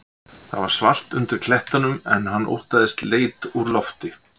Það var svalt undir klettunum en hann óttaðist leit úr lofti.